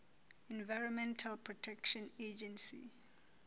environmental protection agency